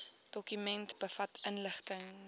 dokument bevat inligting